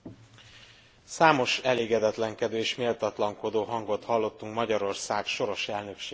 Számos elégedetlenkedő és méltatlankodó hangot hallottunk Magyarország soros elnöksége kapcsán.